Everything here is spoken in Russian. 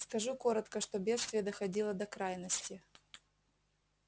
скажу коротко что бедствие доходило до крайности